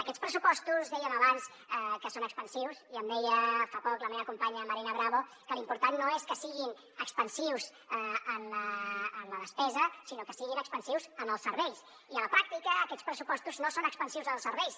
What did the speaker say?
aquests pressupostos dèiem abans que són expansius i em deia fa poc la meva companya marina bravo que l’important no és que siguin expansius en la despesa sinó que siguin expansius en els serveis i a la pràctica aquests pressupostos no són expansius en els serveis